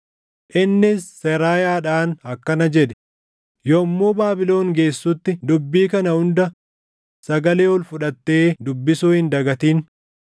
Innis Seraayaadhaan akkana jedhe; “Yommuu Baabilon geessutti dubbii kana hunda sagalee ol fudhattee dubbisuu hin dagatin.